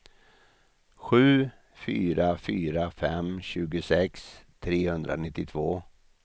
sju fyra fyra fem tjugosex trehundranittiotvå